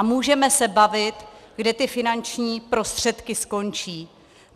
A můžeme se bavit, kde ty finanční prostředky skončí.